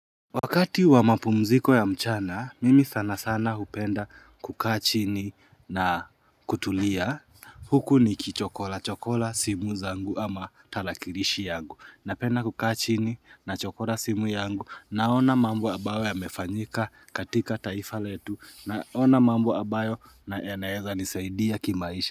Wakati wa mapumziko ya mchana mimi sana sana hupenda kukaa chini na kutulia. Huku ni kichokola chokola simu zangu ama talakirishi yangu napenda kukaa chini na chokola simu yangu naona mambo ambayo ya mefanyika katika taifa letu naona mambo ambayo na yanaweza nisaidia kimaisha.